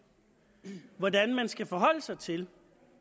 til hvordan man skal forholde sig til